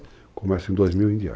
Começa em 2000 em diante .